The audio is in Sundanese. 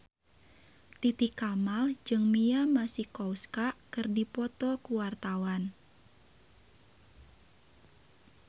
Titi Kamal jeung Mia Masikowska keur dipoto ku wartawan